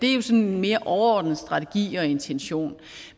er sådan en mere overordnet strategi og intention